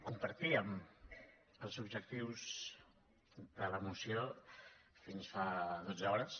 compartíem els objectius de la moció fins fa dotze hores